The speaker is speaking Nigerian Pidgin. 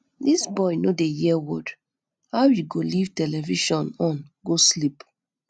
dis boy no dey hear word how he go live television on go sleep